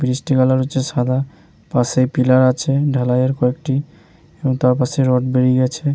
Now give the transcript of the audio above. Bridge -টির colour হচ্ছে সাদা পাশে পিলার আছে ঢালাই এর কয়েকটি এর তার পাশে রড বেরিয়ে আছে ।